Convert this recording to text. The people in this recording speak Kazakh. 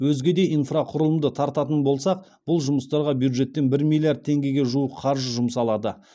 өзге де инфрақұрылымды тартатын болсақ бұл жұмыстарға бюджеттен бір миллиард теңгеге жуық қаржы жұмсалады